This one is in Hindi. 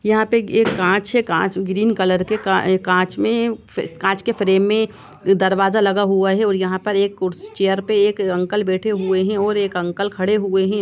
यहाँ पे एक काँच हैं काँच ग्रीन कलर क काँच में कांच के फ्रेम में दरवाजा लगा हुआ हैं और यहाँ एक कुड चेयर पे एक अंकल बैठे हुए हैं और एक अंकल खड़े हुए हैं और--